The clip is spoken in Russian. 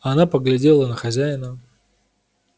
она поглядела на хозяина